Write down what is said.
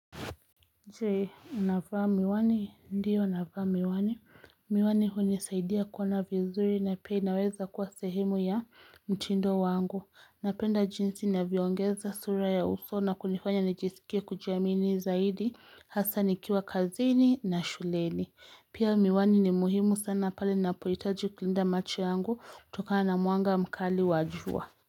Je unavaa miwani ndiyo navaa miwani miwani hunisaidia kuona vizuri na pia inaweza kuwa sehemu ya mtindo wangu napenda jinsi inavyoongeza sura ya uso na kunifanya nijisikie kujiamini zaidi hasa nikiwa kazini na shuleni pia miwani ni muhimu sana pale ninapohitaji kulinda macho yangu kutokana na mwanga mkali wa jua.